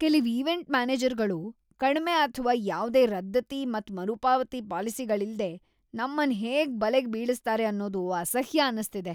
ಕೆಲವ್ ಈವೆಂಟ್ ಮ್ಯಾನೇಜರ್ಗಳು ಕಡ್ಮೆ ಅಥ್ವಾ ಯಾವ್ದೇ ರದ್ದತಿ ಮತ್ ಮರುಪಾವತಿ ಪಾಲಿಸಿಗಳಿಲ್ಲದೆ ನಮ್ಮನ್ ಹೇಗ್ ಬಲೆಗೆ ಬೀಳಿಸ್ತಾರೆ ಅನ್ನೋದು ಅಸಹ್ಯ ಅನಿಸ್ಥಿದೆ.